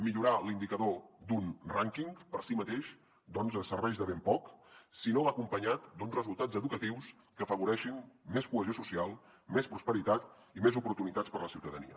millorar l’indicador d’un rànquing per si mateix doncs serveix de ben poc si no va acompanyat d’uns resultats educatius que afavoreixin més cohesió social més prosperitat i més oportunitats per a la ciutadania